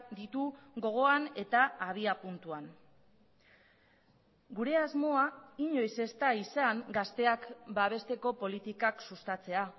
ditu gogoan eta abiapuntuan gure asmoa inoiz ez da izan gazteak babesteko politikak sustatzea